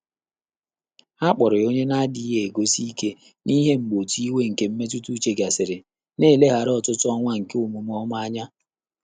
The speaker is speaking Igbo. Há kpọ̀rọ̀ yá ọ́nyé nà-ádị́ghị́ égùzòsí íké n’íhé mgbè òtù ìwé nké mmétụ́tà úchè gàsị́rị̀, nà-élèghàrà ọ́tụ́tụ́ ọ́nwá nké ọ́mụ́mé ọ́mà ányá.